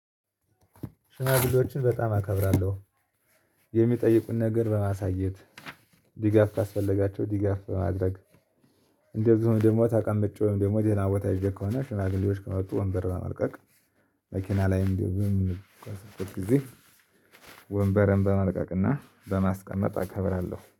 ሽናግሌዎችን በጣም አከብራለሁ የሚጠይቁን ነገር በማሳየት ዲጋፍ ካስፈለጋቸው ዲጋፍ በማድረግ እንደዚሁም ደግሞ ተቀምጬ ወይም ደግሞ ደህና ቦታ ይዤ ከሆነ ሽማግሌዎች ከመጡ ወንበር በመልቀቅ መኪና ላይም ጊዜ ወንበርን በመልቀቅ እና በማስቀመጥ አከብራለሁ